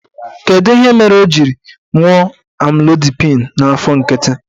Kedụ ihe mere o ji ṅụọ Amlodipịn n'afọ nkịtị?